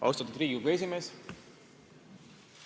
Austatud Riigikogu esimees!